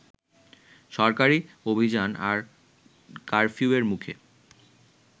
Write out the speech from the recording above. সরকারি অভিযান আর কারফিউয়ের মুখে